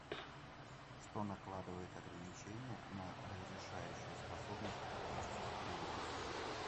что накладывает ограничение на разрешающую способность оптических приборов